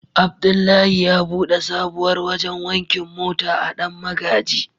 Abdullahi ya bude sabuwar wajen wankin mota a dan magaji.